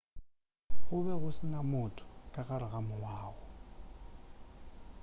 go be go se na motho ka gare ga moago